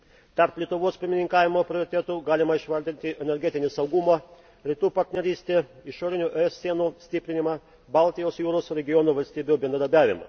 Tarp Lietuvos pirmininkavimo prioritetų galima išvardinti energetinį saugumą, Rytų partnerystę, išorinių ES sienų stiprinimą, Baltijos jūros regiono valstybių bendradarbiavimą.